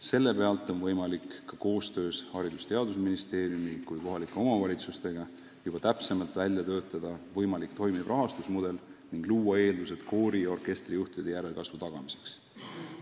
Selle alusel on võimalik koostöös nii Haridus- ja Teadusministeeriumi kui ka kohalike omavalitsustega juba täpsemalt välja töötada võimalik toimiv rahastusmudel ning luua eeldused koori- ja orkestrijuhtide järelkasvu tagamiseks.